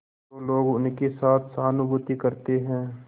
तो लोग उनके साथ सहानुभूति करते हैं